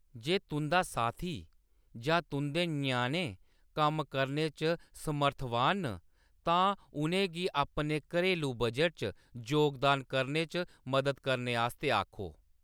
जे तुंʼदा साथी जां तुंʼदे ञ्याणें कम्म करने च समर्थवान न, तां उʼनें गी अपने घरेलू बजट च जोगदान करने च मदद करने आस्तै आखो।